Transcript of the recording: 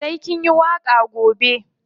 Sai kin yi waƙa gobe.